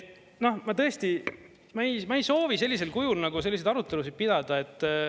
Noh, ma tõesti, ma ei soovi sellisel kujul nagu selliseid arutelusid pidada.